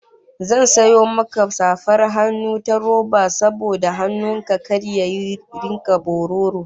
Zan sayo maka safar hannun ta roba saboda hannun ka kar ya rika bororo